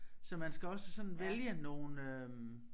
Så man skal også sådan vælge nogle øh